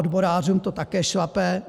Odborářům to také šlape.